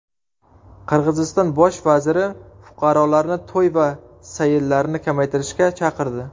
Qirg‘iziston bosh vaziri fuqarolarni to‘y va sayillarni kamaytirishga chaqirdi.